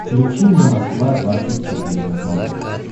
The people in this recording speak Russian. включи мне москва двадцать четыре на смотрешке